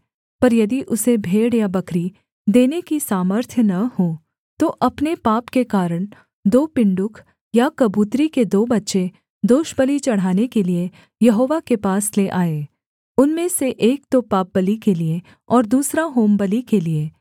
पर यदि उसे भेड़ या बकरी देने की सामर्थ्य न हो तो अपने पाप के कारण दो पिण्डुक या कबूतरी के दो बच्चे दोषबलि चढ़ाने के लिये यहोवा के पास ले आए उनमें से एक तो पापबलि के लिये और दूसरा होमबलि के लिये